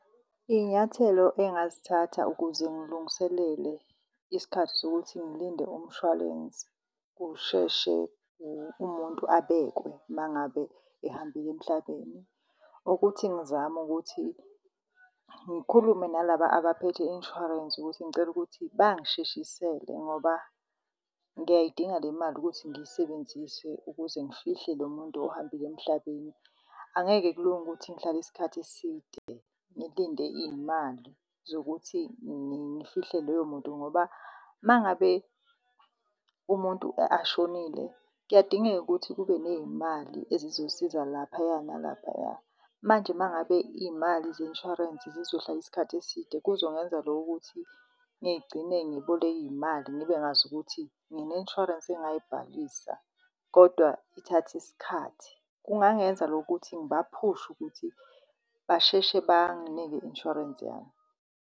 Iy'nyathelo engazithatha ukuze ngilungiselele isikhathi sokuthi ngilinde umshwalense kusheshe umuntu abekwe mangabe ehambile emhlabeni ukuthi ngizame ukuthi ngikhulume nalaba abaphethe i-insurance, ukuthi ngicela ukuthi bangisheshisele. Ngoba ngiyayidinga le mali ukuthi ngiyisebenzise ukuze ngifihle lo muntu ohambile emhlabeni. Angeke kulunge ukuthi ngihlale isikhathi eside ngilinde iy'mali zokuthi ngifihle loyo muntu ngoba mangabe umuntu ashonile kuyadingeka ukuthi kube ney'mali ezizosiza laphaya nalaphaya. Manje mangabe iy'mali ze-insurance zizohlala isikhathi eside kuzongenza ukuthi ngigcine ngiboleka iy'mali ngibe ngazi ukuthi ngine-insurance engayibhalisa kodwa ithatha isikhathi. Kungangenza loko ukuthi ngibaphushe ukuthi basheshe banginike i-insurance yami.